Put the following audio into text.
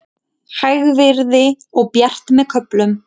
Hægviðri og bjart með köflum